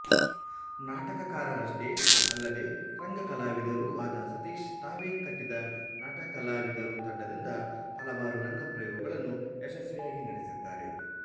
ನಾಟಕಕಾರರಷ್ಟೇ ಅಲ್ಲದೆ ರಂಗ ಕಲಾವಿದರೂ ಆದ ಸತೀಶ್ ತಾವೇ ಕಟ್ಟಿದ ನಟ ಕಲಾವಿದರು ತಂಡದಿಂದ ಹಲವಾರು ರಂಗಪ್ರಯೋಗಗಳನ್ನು ಯಶಸ್ವಿಯಾಗಿ ನಡೆಸಿದ್ದಾರೆ